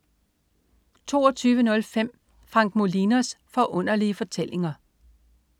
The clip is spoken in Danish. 22.05 Frank Molinos Forunderlige Fortællinger